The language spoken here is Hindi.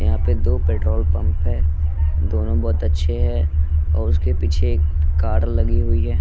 यहां पे दो पेट्रोल पंप है दोनों बहुत अच्छे हैं और उसके पीछे कार लगी हुई है।